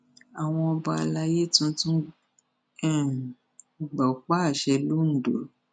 àwọn ọba alayé tuntun um gbọpá àṣẹ londo